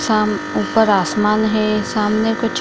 ऊपर आसमान है सामने कुछ --